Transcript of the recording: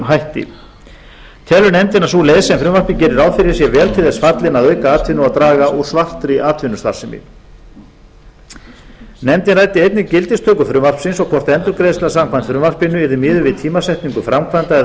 hætti telur nefndin að sú leið sem frumvarpið gerir ráð fyrir sé vel til þess fallin að auka atvinnu og draga úr svartri atvinnustarfsemi nefndin ræddi einnig gildistöku frumvarpsins og hvort endurgreiðsla samkvæmt frumvarpinu yrði miðuð við tímasetningu framkvæmda eða